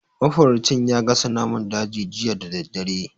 Mafaraucin ya gasa naman daji jiya da daddare.